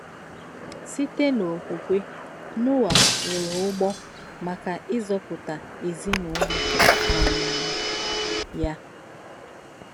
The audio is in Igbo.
Sìtè n’òkwùkwè, Noà wùrù ǔgbò m̀ákà ìzọ̀pùtà èzìnụ́lọ̀ um yà.